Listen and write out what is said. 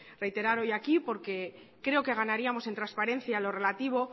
reiterar hoy aquí creo que ganaríamos en transparencia en lo relativo